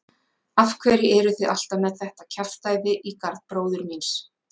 Af hverju eruð þið alltaf með þetta kjaftæði í garð bróður míns?